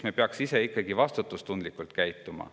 Me peaksime ise vastutustundlikult käituma.